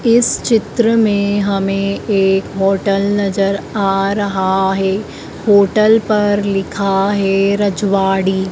इस चित्र में हमें एक होटल नजर आ रहा है। होटल पर लिखा है रजवाड़ी--